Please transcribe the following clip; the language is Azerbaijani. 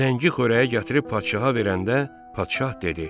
Zəngi xörəyi gətirib padşaha verəndə padşah dedi: